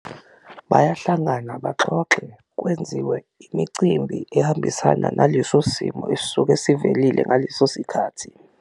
Bayahlangana baxoxe, kwenziwe imicimbi ehambisana naleso simo esisuke sivelile ngaleso sikhathi.